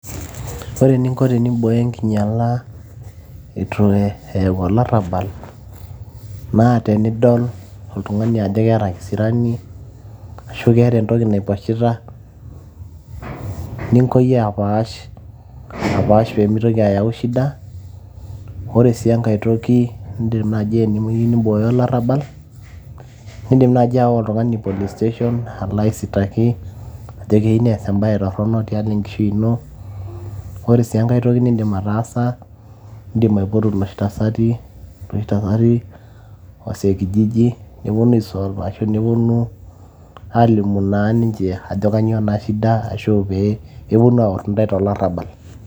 Ore eninko tenimbooyo enkinyala itu eyau olarrabal, naa tenidol oltung'ani ajo keeta kisirani, ashu keeta entoki naiposhita, ningo yie apaash. Apaash pemitoki ayau shida. Ore si enkae toki nidim nai enemeyu nibooyo olarrabal, idim nai ayawa oltung'ani police station, alo aisitaki, ajo keyieu nees ebae torronok tialo enkishui ino. Ore si enkae toki niidim ataasa, idim aipotu loshi tasati, loshi tasati, wazee kijiji, neponu ai solve ashu neponu, alimu na ninche ajo kanyioo na shida ashu pee, neponu aor intae tolarrabal.